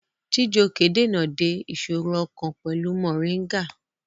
Chijioke dènà de ìṣòro ọkàn pẹ̀lú Mọ̀ríngà